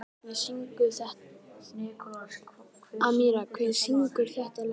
Amíra, hver syngur þetta lag?